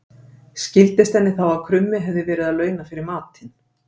Skildist henni þá að krummi hafði verið að launa fyrir matinn.